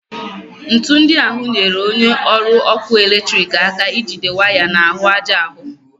Ńtù ndị ahụ nyere onye ọrụ ọkụ eletriki aka ijide waya n'ahụ aja ahụ